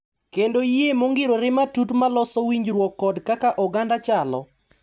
Kendo yie mongirore matut ma loso winjruok kod kaka oganda chalo.